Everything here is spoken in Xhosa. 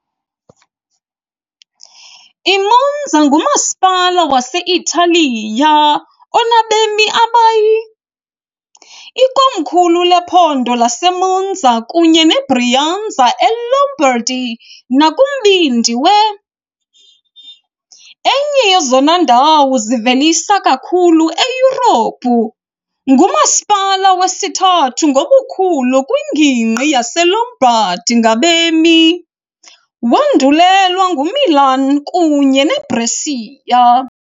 I-Monza ngumasipala wase-Italiya onabemi abayi , ikomkhulu lephondo laseMonza kunye neBrianza eLombardy nakumbindi we. enye yezona ndawo zivelisa kakhulu eYurophu .Ngumasipala wesithathu ngobukhulu kwingingqi yeLombardy ngabemi, wandulelwa nguMilan kunye neBrescia.